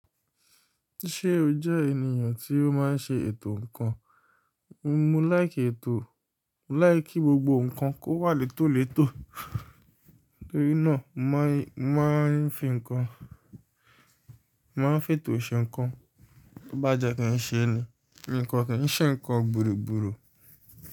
Ṣé o jẹ́ ènìyàn tí ó máa ń ṣe ètò ǹkan? Mo láìké ètò, mo láìké gbogbo ǹkan kó wà létòlètò, torí náà mo máà ń fi ǹkan, màá ń fètò ṣe ǹkan. Bá jẹ́ kí n ṣe ń ní, mi kan kin ṣe ǹkan bùrùbúrù.